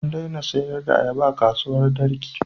An daina sayar da ayaba a kasuwar Darki.